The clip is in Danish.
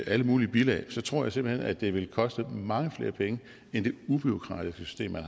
alle mulige bilag tror jeg simpelt hen at det vil koste mange flere penge end det ubureaukratiske system man